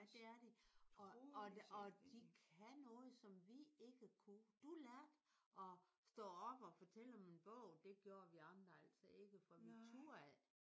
Ja det er de. Og og og de kan noget som vi ikke kunne. Du lærte at stå op og fortælle om en bog. Det gjorde vi andre altså ikke for vi turde ikke